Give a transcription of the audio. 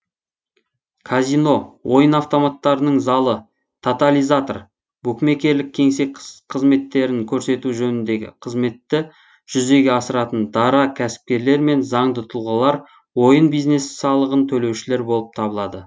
казино ойын автоматтарының залы тотализатор букмекерлік кеңсе қыметтерін көрсету жөніндегі қызметті жүзеге асыратын дара кәсіпкерлер мен заңды тұлғалар ойын бизнесі салығын төлеушілер болып табылады